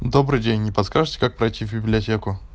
добрый день не подскажите как пройти в библиотеку